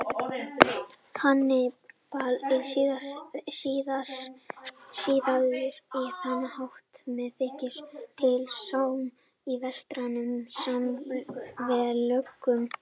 Hannibal er siðaður á þann hátt sem þykir til sóma í vestrænum samfélögum.